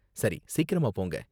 சரி, சீக்கிரமா போங்க